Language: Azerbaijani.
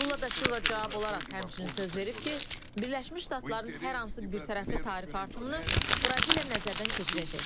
Lula da Silva cavab olaraq həmçinin söz verib ki, Birləşmiş Ştatların hər hansı birtərəfli tarifi artımını Braziliya nəzərdən keçirəcək.